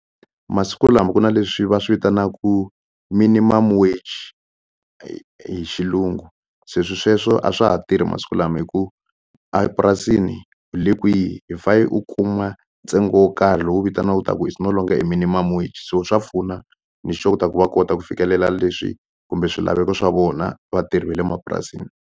Masiku lama ku na leswi va swi vitanaku minimum wage hi hi xilungu se swi sweswo a swa ha tirhi masiku lama hi ku a purasini u le kwihi hi u kuma ntsengo wo karhi lowu vitaniwaku ta ku is no longer a minimum wage so swa pfuna ni sure ku ta ku va kota ku fikelela leswi kumbe swilaveko swa vona vatirhi va le mapurasini.